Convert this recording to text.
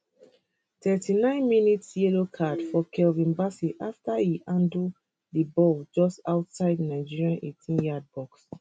39 mins yellow card for calvin bassey afta e handle di ball just outside nigeria eighteenyard box